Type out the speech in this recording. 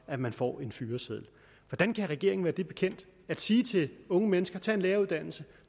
at man får en fyreseddel hvordan kan regeringen være det bekendt at sige til unge mennesker tage en læreruddannelse